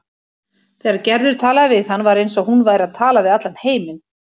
Þegar Gerður talaði við hann var eins og hún væri að tala við allan heiminn.